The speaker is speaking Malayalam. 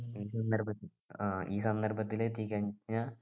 ഈ സന്ദർഭത്തിൽ ആഹ് ഈ സന്ദർഭത്തിലെത്തിക്കാ നാ